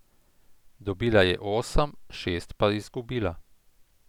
Dobila jih je osem, šest pa izgubila.